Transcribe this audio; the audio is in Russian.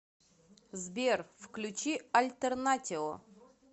сбер включи альтернатио